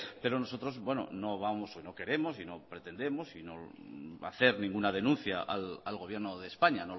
pero nosotros no vamos o queremos y no pretendemos y no hacer ninguna denuncia al gobierno de españa